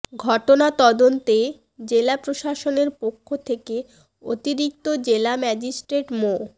ঘটনা তদন্তে জেলা প্রশাসনের পক্ষ থেকে অতিরিক্ত জেলা ম্যাজিস্ট্রেট মো